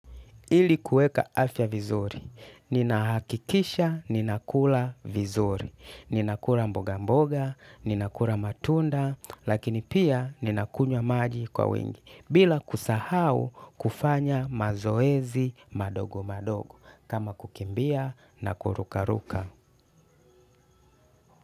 Ili kuweka afya vizuri ninahakikisha ninakula vizuri, ninakula mboga mboga, ninakula matunda, lakini pia ninakunywa maji kwa wingi, bila kusahau kufanya mazoezi madogo madogo, kama kukimbia na kurukaruka.